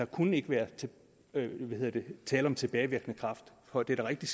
kunne være tale om tilbagevirkende kraft for det er rigtigt